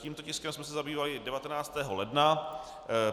Tímto tiskem jsme se zabývali 19. ledna.